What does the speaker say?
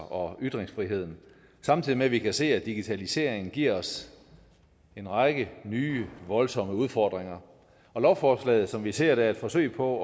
og ytringsfriheden samtidig med at vi kan se at digitaliseringen giver os en række nye voldsomme udfordringer lovforslaget som vi ser det er et forsøg på